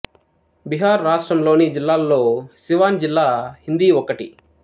బీహార్ రాష్ట్రం లోని జిల్లాల్లో సివాన్ జిల్లా హిందీ ఒకటి